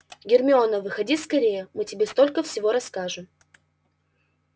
гермиона выходи скорее мы тебе столько всего расскажем